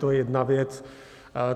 To je jedna věc.